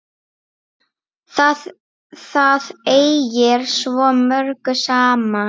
Það ægir svo mörgu saman.